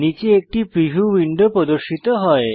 নীচে একটি preview window প্রদর্শিত হয়